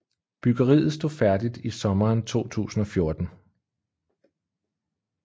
Byggeriet stod færdigt i sommeren 2014